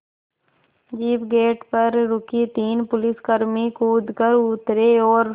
jeep gate पर रुकी तीन पुलिसकर्मी कूद कर उतरे और